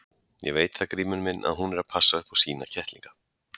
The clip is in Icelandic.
Ég veit það Grímur minn að hún er að passa upp á sína kettlinga.